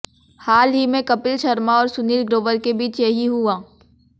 हाल ही में कपिल शर्मा और सुनील ग्रोवर के बीच यही हुआ